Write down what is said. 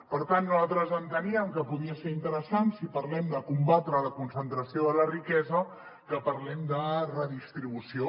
per tant nosaltres enteníem que podia ser interessant si parlem de combatre la concentració de la riquesa que parlem de redistribució